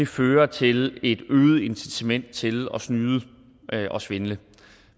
fører til et øget incitament til at snyde og svindle